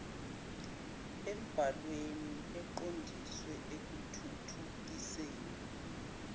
embalwa eqondiswe ekuthuthukiseni